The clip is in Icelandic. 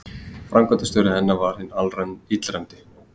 Framkvæmdastjóri hennar var hinn illræmdi